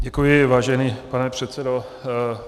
Děkuji, vážený pane předsedo.